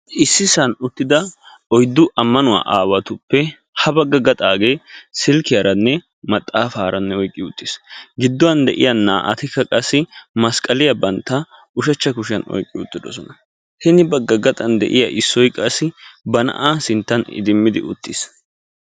issi sohuwani ammanuwaa aawati uttidossona ettape gaxxage silkiyaranne maaxxafara oyqiisi naa"ati masqaliya oyqidossona hini gaxxage ba na"aa idimidi uttiisi.